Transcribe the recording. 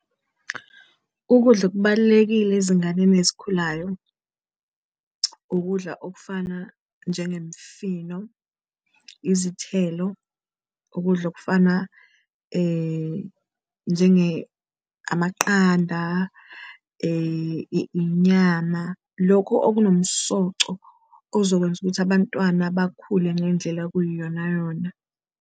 Ukudla okubalulekile ezinganeni ezikhulayo ukudla okufana njengemfino, izithelo, ukudla okufana njenge amaqanda, inyama, lokhu okunomsoco ozokwenza ukuthi abantwana bakhule ngendlela okuyiyona yona.